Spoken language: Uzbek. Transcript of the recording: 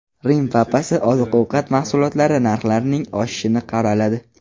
Rim papasi oziq-ovqat mahsulotlari narxlarining oshishini qoraladi.